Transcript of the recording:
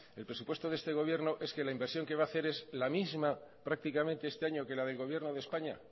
el presupuesto de este gobierno es que la inversión que va a hacer es la misma prácticamente este año que la del gobierno de españa